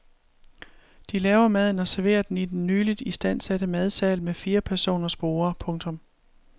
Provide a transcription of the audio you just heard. De laver maden og serverer den i den nyligt istandsatte madsal med firepersoners borde. punktum